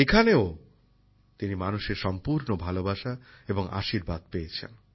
এখানেও তিনি মানুষের সম্পূর্ণ ভালবাসা এবং আশীর্বাদ পেয়েছেন